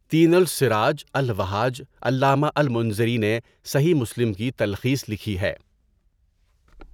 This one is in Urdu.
تین السراج الوهاج علامہ المنذری نے صحیح مسلم کی تلخیص لکھی ہے ـ.